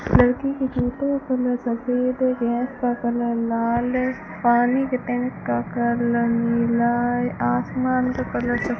लड़की की जूतों का कलर सफेद है गैस का कलर लाल है पानी के टैंक का कलर नीला है आसमान का कलर स --